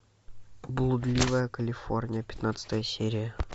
блудливая калифорния пятнадцатая серия